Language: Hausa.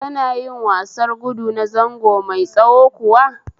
Kana yin wasar gudu na zango mai tsawo kuwa?